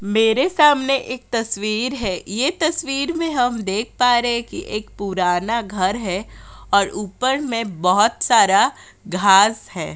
मेरे सामने एक तस्वीर है। ये तस्वीर में हम देख पा रहे हैं कि एक पूराना घर है और ऊपर में बहुत सारा घास है।